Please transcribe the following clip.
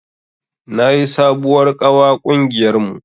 Na yi sabuwar ƙawa ƙungiyar mu